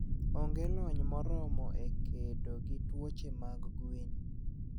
Onge lony moromo e kedo gi tuoche mag gwen.